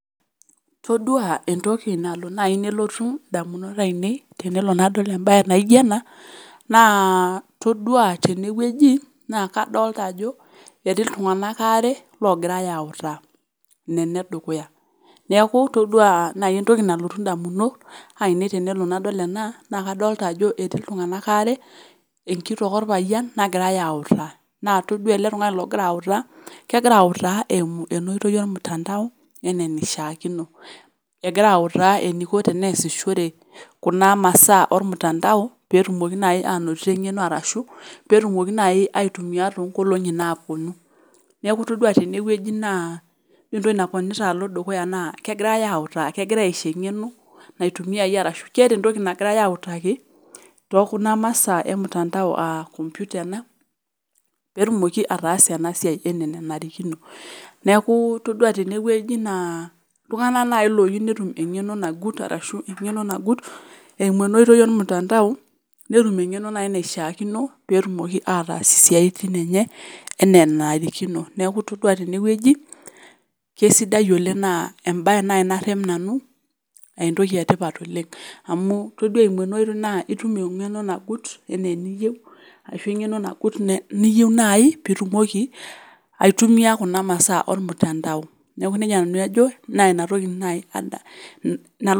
Toduaa entoki nalo nai nelotu ndamunot ainei tenelo nadol embaye naijo ena naa toduaa tenewueji naa kadolta ajo etii iltung'anak aare logiraiyautaa, nene edukuya. Neaku toduaa nai entoki nalotu indamunot ainei tenelo nadol ena naakadolta ajo etii iltung'anak aare enkitok orpayian nagiraiyautaa kegira autaa eimu enooitoi olmutandao enaneishaakino, egiraautaa eneiko teneasishore kuna masaa olmutandao peetumoki nai anotie eng'eno arashu petumoki nai aitumia toonkolong'i naapuonu. Neaku toduaa tenewueji naa entoki naponita alo dukuya naa kegirai autaa kegirai aisho eng'eno naitumiaye arashu keata entoki nagirai autaki tookuna masaa emutandao [aa] kompyuta ena peetumoki ataasa enasiai enaa enanarikino. Neakuu toduaa tenewueji naa iltung'ana nai looyu netum eng'eno nagut arashu eng'eno nagut eimu enoitoi olmutandao netum eng'eno nai naishaakino peetumoki ataas isiaitin enye enaa nanarikino. Neaku toduaa tenewueji kesidai oleng' naa embaye nai narrep nanu eentoki etipat oleng' amuu toduaa eimu enaoitoi naa itum eng'eno nagut eneeniyeu ashuu eng'eno nagut ne niyeu nai piitumoki aitumia kuna masaa olmutandao. Neaku neija nanu ajo naina toki nai ada nalo.